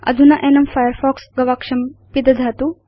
अधुना एनं फायरफॉक्स गवाक्षं पिदधातु